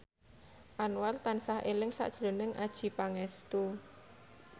Anwar tansah eling sakjroning Adjie Pangestu